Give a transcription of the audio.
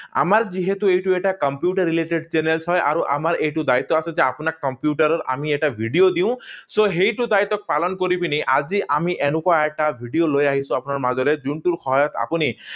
আমাৰ যিহেতু এইটো এটা কম্পিউটাৰ related চেনেল হয়, আৰু আমাৰ এইটো দায়িত্ব আছে যে আপোনাৰ কম্পিউটাৰৰ আমি এটা ভিডিঅ দিওঁ So, সেইটো দায়িত্ব পালন কৰি পিনি আজি আমি এনেকুৱা এটা ভিডিঅ লৈ আহিছো আপোনাৰ মাজলে, যোনটোৰ সহায়ত আপুনি